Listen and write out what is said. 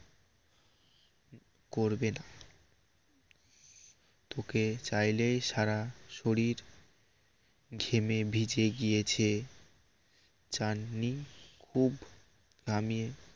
করবে না তোকে চাইলেই সারা শরীর ঘেমে ভিজে গিয়েছে চাননি খুব নামিয়ে